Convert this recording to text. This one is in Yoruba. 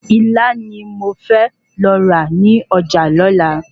Ilá ni mo fẹ́ lọ rà ní ọjà lola